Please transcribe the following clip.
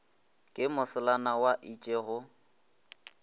ke moselana wa itše go